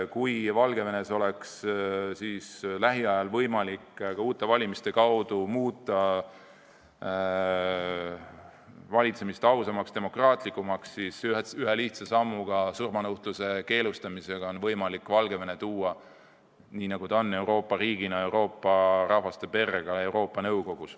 Kui Valgevenes oleks lähiajal võimalik ka uute valimise kaudu muuta valitsemist ausamaks, demokraatlikumaks, siis ühe lihtsa sammuga ehk surmanuhtluse keelustamisega oleks võimalik Valgevene Euroopa riigina tuua Euroopa rahvaste perre ka Euroopa Nõukogus.